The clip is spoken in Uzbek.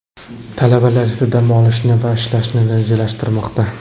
Talabalar esa dam olishni va ishlashni rejalashtirmoqda.